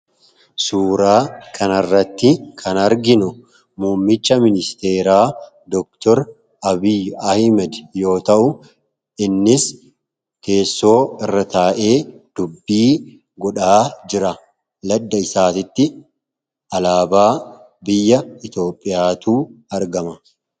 Suuraa kanarratti kan arginu muummicha ministeeraa Doktor Abiy Ahimed yoo ta'u innis teessoo irra taa'ee dubbii godhaa jira madda isaatitti alaabaa biyya iitoophiyaatu argama.